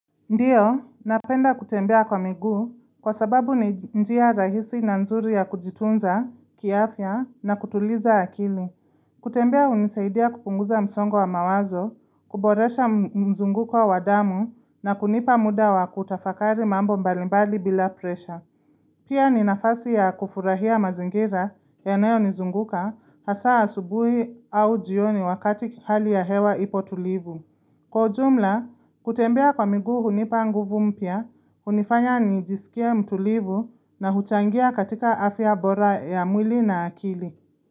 Ndiyo, napenda kutembea kwa miguu kwa sababu ni njia rahisi na nzuri ya kujitunza, kiafya na kutuliza akili. Kutembea hunisaidia kupunguza msongo wa mawazo, kuboresha mzunguko wa wadamu na kunipa muda wa kutafakari mambo mbalimbali bila presha. Pia ni nafasi ya kufurahia mazingira yanayo nizunguka haswa asubuhi au jioni wakati hali ya hewa ipo tulivu. Kwa jumla, kutembea kwa miguu hunipa nguvu mpya, hunifanya nijisikie mtulivu na huchangia katika afya bora ya mwili na akili.